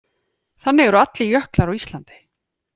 Þannig eru allir jöklar á Íslandi.